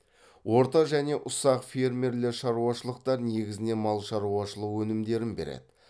орта және ұсақ фермерлі шаруашылықтар негізінен мал шаруашылық өнімдерін береді